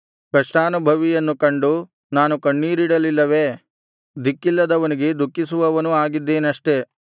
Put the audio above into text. ಕಷ್ಟಾನುಭವಿಯನ್ನು ಕಂಡು ನಾನು ಕಣ್ಣೀರಿಡಲಿಲ್ಲವೇ ದಿಕ್ಕಿಲ್ಲದವನಿಗೆ ದುಃಖಿಸುವವನೂ ಆಗಿದ್ದೇನಷ್ಟೆ